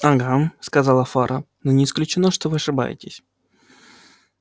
ага сказал фара но не исключено что вы ошибаетесь